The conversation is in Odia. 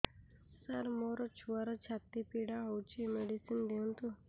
ସାର ମୋର ଛୁଆର ଛାତି ପୀଡା ହଉଚି ମେଡିସିନ ଦିଅନ୍ତୁ